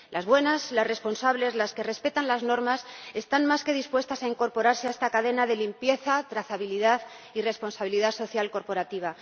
Las buenas, las responsables, las que respetan las normas están más que dispuestas a incorporarse a esta cadena de limpieza, trazabilidad y responsabilidad social corporativa.